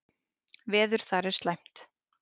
Veður þar er slæmt.